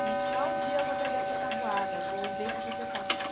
Que tal dia eu vou pegar essa tabuada, vou ver se você sabe.